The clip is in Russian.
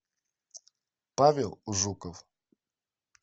павел жуков